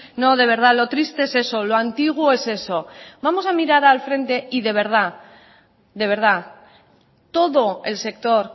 no de verdad lo triste es eso lo antiguo es eso vamos a mirar al frente y de verdad todo el sector